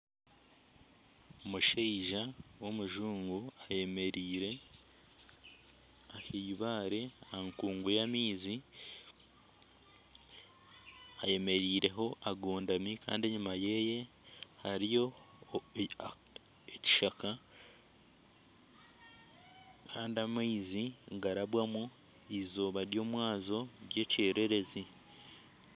Omushaija w'omujungu ayemereire ah'eibaare aha nkungu y'amaizi ayemereireho agondami kandi enyima yeeye hariyo ekishaka kandi amaizi nigarabwamu eizooba ry'omwazyo ry'ekyererezi.